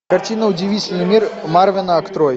картина удивительный мир марвена открой